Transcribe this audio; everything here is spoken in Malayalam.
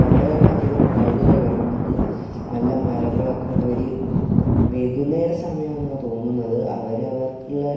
കൊറെ അധികം റൈഡുകൾ കാണുന്നുണ്ട് നല്ല മരങ്ങളൊക്കെ ഇള്ള ഒരു വൈകുന്നേര സമയാന്നാ തോന്നുന്നത് അവര് അവർക്കുള്ള --